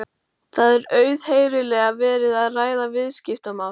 Það er auðheyrilega verið að ræða viðskiptamál.